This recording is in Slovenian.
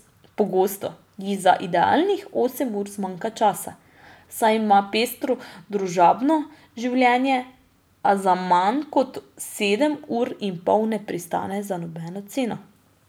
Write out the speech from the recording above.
Pogosto ji za idealnih osem ur zmanjka časa, saj ima pestro družabno življenje, a na manj kot sedem ur in pol ne pristane za nobeno ceno.